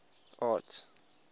arts